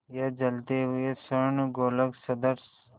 या जलते हुए स्वर्णगोलक सदृश